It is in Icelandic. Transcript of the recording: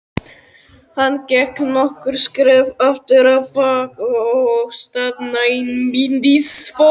Hann gekk nokkur skref afturábak og staðnæmdist svo.